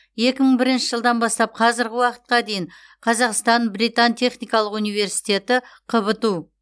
екі мың бірінші жылдан бастап қазіргі уақытқа дейін қазақстан британ техникалық университеті қбту